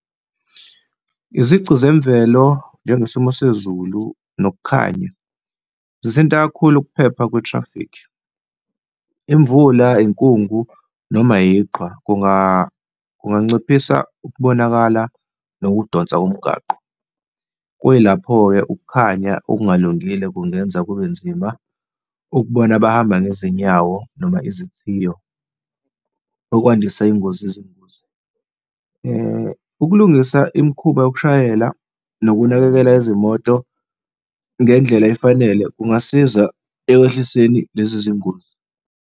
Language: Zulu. Izici zemvelo njengesimo sezulu nokukhanya zithinta kakhulu ukuphepha kwe-traffic. Imvula, inkungu noma yiqhwa, kunganciphisa ukubonakala nokudonsa komgwaqo. Kuyilapho-ke ukukhanya okungalungile kungenza kube nzima ukubona abahamba ngezinyawo noma izithiyo okwandisa ingozi, izingozi. Ukulungisa imikhuba yokushayela nokunakekela izimoto ngendlela efanele kungasiza ekwehliseni lezi zingozi.